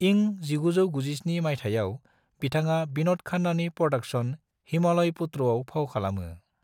इं 1997 माइथायाव बिथाङा बिनोद खन्नानि प्रोडक्शन हिमालय पुत्रआव फाव खालामो।